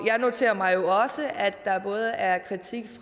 jeg noterer mig jo også at der både er kritik